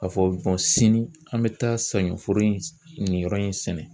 K'a fɔ sini an bɛ taa saɲɔforo in nin yɔrɔ in sɛnɛ.